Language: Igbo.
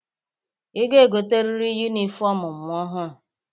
Ị ga-egoteriri yunifọmụ ọhụrụ.